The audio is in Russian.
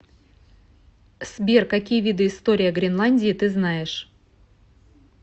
сбер какие виды история гренландии ты знаешь